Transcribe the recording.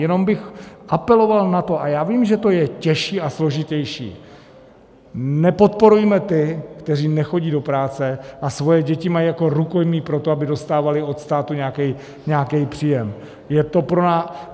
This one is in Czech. Jenom bych apeloval na to, a já vím, že to je těžší a složitější: Nepodporujme ty, kteří nechodí do práce a svoje děti mají jako rukojmí pro to, aby dostávali od státu nějaký příjem!